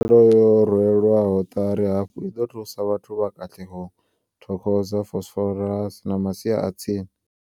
Tshumelo yo rwelwaho ṱari hafhu i ḓo thusa vhathu vha Katlehong, Thokoza, Vosloorus na masia a tsini.